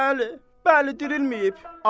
Bəli, bəli, dirilməyib.